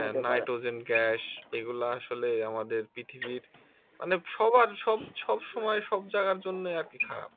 হ্যা nitrogen gas এগুলা আসলে আমাদের পৃথিবীর মানে সবার সব সবসময় সব জাগার জন্যই আর কি খারাপ